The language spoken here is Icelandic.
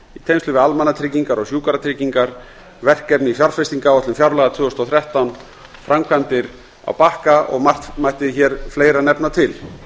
við almannatryggingar og sjúkratryggingar vegna verkefna í fjárfestingaráætlun fjárlaga tvö þúsund og þrettán framkvæmda á bakka og margt mætti hér fleira nefna til